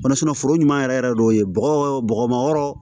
foro ɲuman yɛrɛ yɛrɛ de y'o ye bɔgɔ bɔgɔmɔ yɔrɔ